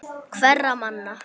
Hverra manna?